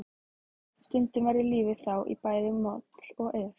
Stundum verður lífið þá í bæði moll og es.